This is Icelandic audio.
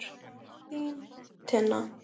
Þín, Tinna.